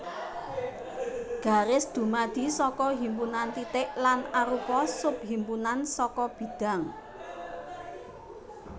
Garis dumadi saka himpunan titik lan arupa subhimpunan saka bidhang